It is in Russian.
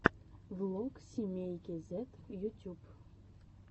влог семейки зэд ютюб